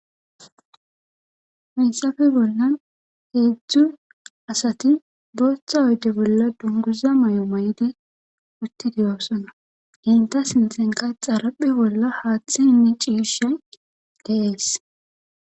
Hayssappe bollan heedzzdu asati boootha oyde bolla dunguza mayo maydi utti de'osona.enta sintkhanka xarphe bolla haylalndera haaththay de'es